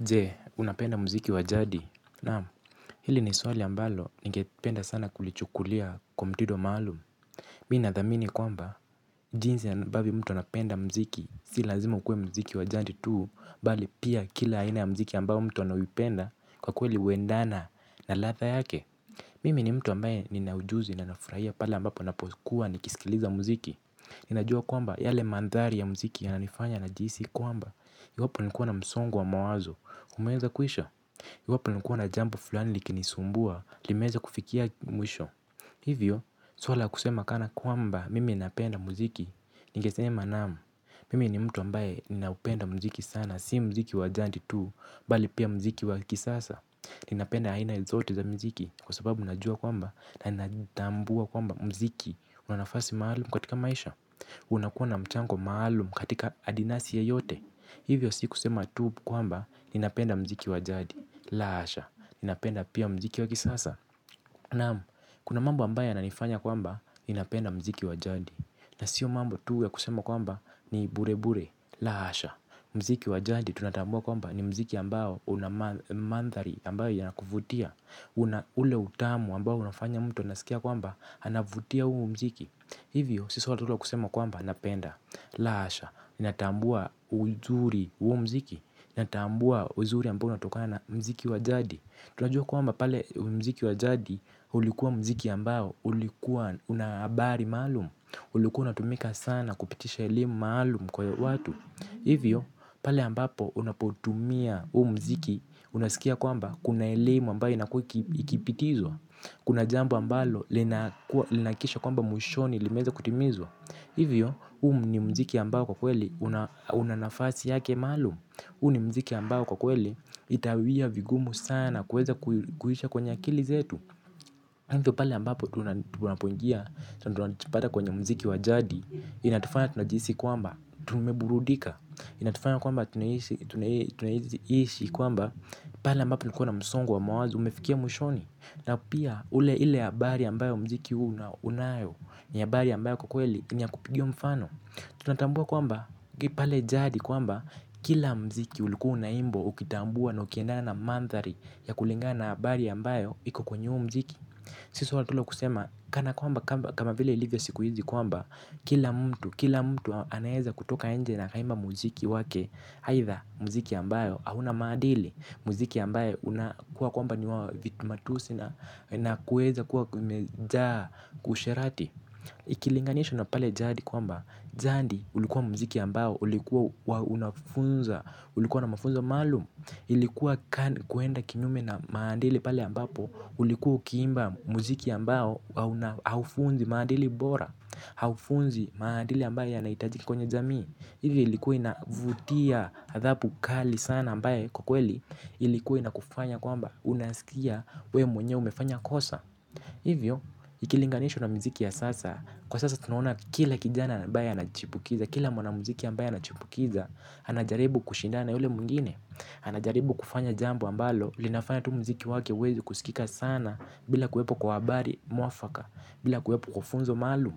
Je, unapenda mziki wa jadi. Naam, hili ni swali ambalo, ningependa sana kulichukulia kwa mtido maalu. Mimi nathamini kwamba, jinsi ambavyo mtu anapenda mziki, si lazima ukuwe mziki wa jadi tu, mbali pia kila aina ya mziki ambayo mtu anayoipenda, kwa kweli huendana na latha yake. Mimi ni mtu ambaye ninaujuzi na ninafurahia pala ambapo napokuwa nikisikiliza mziki. Ninajua kwamba, yale mandhari ya mziki yananifanya najihisi kwamba, iwapo nilikuwa na msongo wa mawazo, umeweza kuisha. Iwapo nilikuwa na jambo fulani likinisumbua, limeweza kufikia mwisho. Hivyo, swala la kusema kanakwamba mimi napenda mziki. Ningesema naam, mimi ni mtu ambaye ninaupenda mziki sana. Si mziki wa jandi tu, mbali pia mziki wa kisasa. Ninapenda aina zote za mziki, kwa sababu najua kwamba na ninatambua kwamba mziki, una nafasi maalum katika maisha. Unakuwa na mchango maalum katika adinasi yeyote. Hivyo si kusema tu kwamba ninapenda mziki wa jadi. La hasha, ninapenda pia mziki wa kisasa. Naam, kuna mambo ambayo yananifanya kwamba ninapenda mziki wa jadi. Na sio mambo tu ya kusema kwamba ni burebure. La hasha, mziki wa jadi tunatambua kwamba ni mziki ambao unamandhari ambayo yanakuvutia. Ule utamu ambao unafanya mtu unasikia kwamba, anavutia huo mziki. Hivyo, si swala tu la kusema kwamba napenda. La hasha, ninatambua uzuri wa huo mziki, natambua uzuri ambao unatokana na mziki wa jadi. Tunajua kwamba pale mziki wa jadi ulikuwa mziki ambao, ulikuwa unahabari maalum. Ulikuwa unatumika sana kupitisha elimu maalum kwa watu. Hivyo, pale ambapo unapotumia huu mziki, unasikia kwamba kuna elimu ambayo inakuwa ikipitizwa. Kuna jambo ambalo linahakikisha kwamba mwishoni limeweza kutimizwa. Hivyo, huu ni mziki ambao kwa kweli unanafasi yake maalum. Huu ni mziki ambao kwa kweli itawia vigumu sana kuweza kuisha kwenye akili zetu. Hivyo pale ambapo tunapongia, tunajipata, kwenye mziki wa jadi. Inatufanya tunajihisi kwamba tumeburudika. Inatufanya kwamba tunaishi kwamba pala ambapo nilikuwa na msongo wa mawazo umefikia mwishoni. Na pia ule ile ya bari ambayo mziki unayo ni ya habari ambayo kwakweli niya kupigiwa mfano. Tunatambua kwamba pale jadi kwamba kila mziki ulikuwa unaimbwa ukitambua na ukiendana na mandhari ya kulingana na habari ambayo iko kwenye huo mziki. Si swala tu la kusema kana kwamba kama vile ilivyo siku hizi kwamba kila mtu kila mtu anaweza kutoka nje na akaimba mziki wake. Haitha mziki ambayo hauna madili mziki ambayo unakuwa kwamba niwa matusi na kuweza kuwa umejaa usherati. Ikilinganisho na pale jadi kwamba jadi ulikuwa mziki ambao ulikuwa na mafunza maalum ilikuwa kwenda kinyume na maadili pale ambapo ulikuwa ukimba mziki ambao haufunzi maadili bora haufunzi maandili ambayo yanahitajiki kwenye jamii hivyo ilikuwa inavutia adhabu kali sana ambayo kwakweli ilikuwa inakufanya kwamba unaskia wewe mwenyewe umefanya kosa hivyo ikilinganishwa na mziki ya sasa kwa sasa tunaona kila kijana ambaye anachipukiza kila mwanamziki ambaye anachipukiza anajaribu kushindana na yule mwingine anajaribu kufanya jambo ambalo linafanya tu mziki wake uweze kusikika sana bila kuwepo kwa habari mwafaka bila kuwepo kwa funzo maalum.